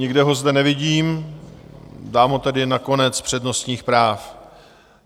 Nikde ho zde nevidím, dám ho tedy na konec přednostních práv.